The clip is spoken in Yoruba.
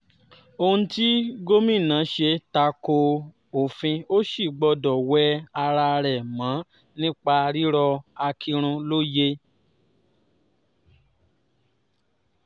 ohun tí gómìnà ṣe ta ko òfin ò sì gbọdọ̀ wẹ ara rẹ̀ mọ́ nípa rírọ akinrun lóye